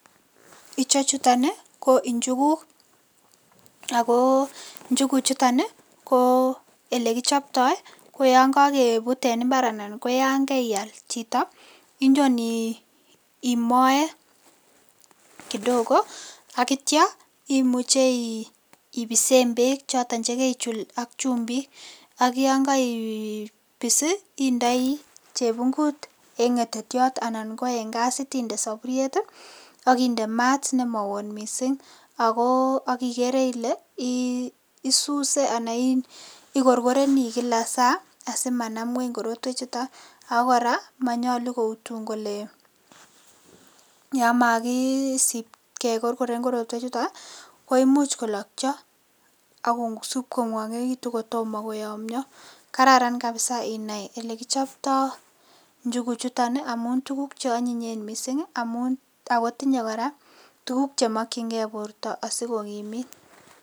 Ichechuton ii ko injuguk, ako njuguchuton ii, ko elekichoptoi ii, ko yon kakebut en imbar anan ko yan kaial chito, inyon imoe kidogo ak ityo imuche ibisen peek choton che keichul ak chumbik, ak yon kaibis ii, indoi chebungut eng ngetetyot anan ko eng gasit inde saburiet ii, ak inde maat ne ma oo ot mising ako ak ikere ile, isuse anan ikorkoreni kila saa asimanam nguny korotwechuton, ako kora manyalu koutun kole yamakisip kekorkoren korotwechuton, koimuch kolokyo ak kosup kongwonekitun kotomo koyomnyo, kararan kabisa inai elekichoptoi njuguchuton ii amun tukuk che anyinyen mising ii, amun ako tinye kora tukuk chemokchinkei borta asi kokimit.